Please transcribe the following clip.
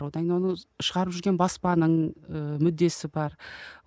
одан кейін оны шығарып жүрген баспаның ыыы мүддесі бар